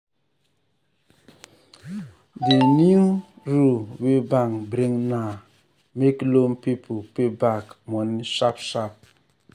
di new di new rule wey bank bring now make loan people pay back money sharp sharp.